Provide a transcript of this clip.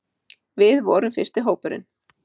Við vorum fyrsti hópurinn